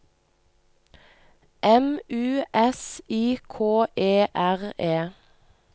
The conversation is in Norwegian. M U S I K E R E